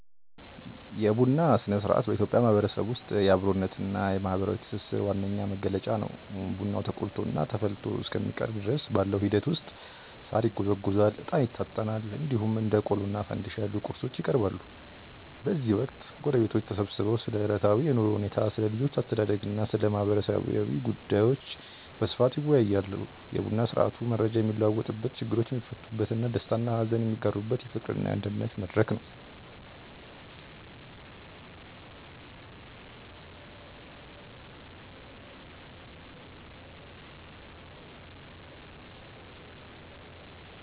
የቡና ሥነ-ሥርዓት በኢትዮጵያ ማህበረሰብ ውስጥ የአብሮነትና የማህበራዊ ትስስር ዋነኛ መገለጫ ነው። ቡናው ተቆልቶና ተፈልቶ እስከሚቀርብ ድረስ ባለው ሂደት ውስጥ ሳር ይጎዘጎዛል፣ እጣን ይታጠናል፣ እንዲሁም እንደ ቆሎና ፋንድሻ ያሉ ቁርሶች ይቀርባሉ። በዚህ ወቅት ጎረቤቶች ተሰብስበው ስለ ዕለታዊ የኑሮ ሁኔታ፣ ስለ ልጆች አስተዳደግና ስለ ማህበራዊ ጉዳዮች በስፋት ይወያያሉ። የቡና ስርአቱ መረጃ የሚለዋወጥበት፣ ችግሮች የሚፈቱበትና ደስታና ሀዘን የሚጋሩበት የፍቅርና የአንድነት መድረክ ነው።